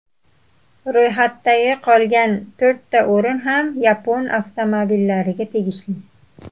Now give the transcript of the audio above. Ro‘yxatdagi qolgan to‘rtta o‘rin ham yapon avtomobillariga tegishli.